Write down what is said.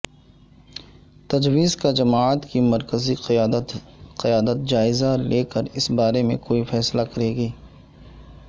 تجویز کا جماعت کی مرکزی قیادت جائزہ لے کر اس بارے میں کوئی فیصلہ کرےگی